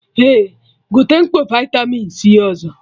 Eh, gote mkpọ vitamin C ọzọ